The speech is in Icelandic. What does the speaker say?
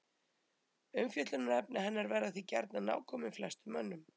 Umfjöllunarefni hennar verða því gjarnan nákomin flestum mönnum.